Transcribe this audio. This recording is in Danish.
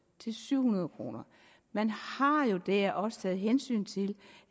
til syv hundrede kroner man har jo der også taget hensyn til